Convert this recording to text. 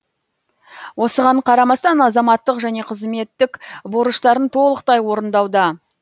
осыған қарамастан азаматтық және қызметтік борыштарын толықтай орындауда